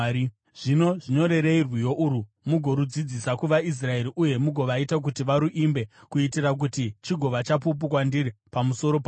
“Zvino zvinyorerei rwiyo urwu mugorudzidzisa kuvaIsraeri uye mugovaita kuti varuimbe, kuitira kuti chigova chapupu kwandiri pamusoro pavo.